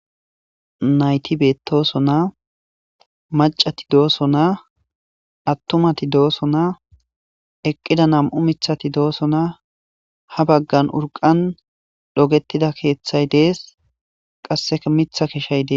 nayti beettosonaa macati doosonaa attumati doosonaa eqqida nam7u mithati doosonaa ha baggan urqan dhogettida keeththay dees qassea mitha keshay des